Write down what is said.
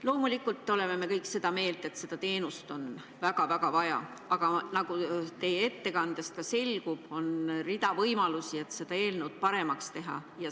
Loomulikult oleme me kõik seda meelt, et seda teenust on väga-väga vaja, aga nagu teie ettekandest ka selgub, on rida võimalusi, et seda eelnõu paremaks teha.